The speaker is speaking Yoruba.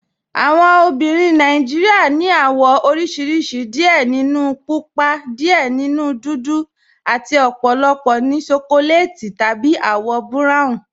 Awọn obìnrin Nàìjíríà ni awọn awọ̀ oríṣiríṣì, díẹ̀ nínú púpà, díẹ̀ nínú dúdú, àti ọ̀pọ̀lọpọ̀ ní ṣókòlètì tàbí awọ̀ buráwùn